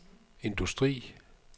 industri